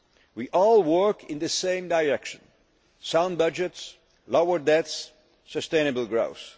We all work in the same direction sound budgets, lower debts, sustainable